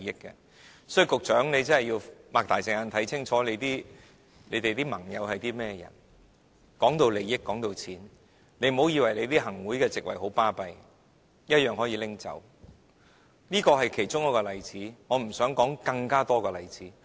因此，局長你要張開眼睛看清楚你的盟友是何許人，談到利益、談到錢，你不要以為行政會議的席位有甚麼了不起，一樣予取予求，這是其中一個例子，我不想舉太多例子。